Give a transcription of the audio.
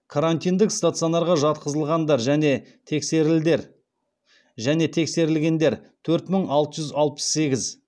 карантиндік стационарға жатқызылғандар және тексерілгендер төрт мың алты жүз алпыс сегіз